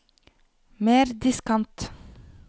mer diskant